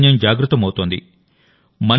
కొత్త చైతన్యం జాగృతమవుతోంది